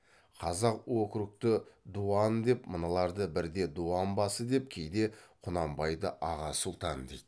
қазақ округті дуан деп мыналарды бірде дуан басы деп кейде құнанбайды аға сұлтан дейді